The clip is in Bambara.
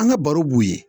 An ka baro b'u ye